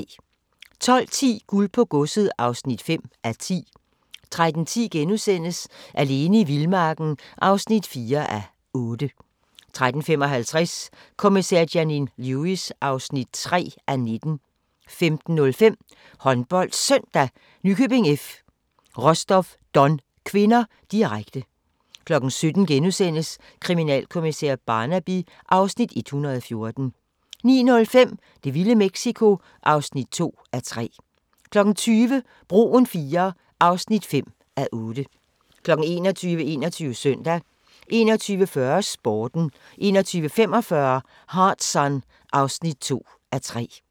12:10: Guld på godset (5:10) 13:10: Alene i vildmarken (4:8)* 13:55: Kommissær Janine Lewis (3:19) 15:05: HåndboldSøndag: Nykøbing F. - Rostov-Don (k), direkte 17:00: Kriminalkommissær Barnaby (Afs. 114)* 19:05: Det vilde Mexico (2:3) 20:00: Broen IIII (5:8) 21:00: 21 Søndag 21:40: Sporten 21:45: Hard Sun (2:3)